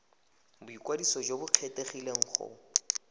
boikwadiso jo bo kgethegileng go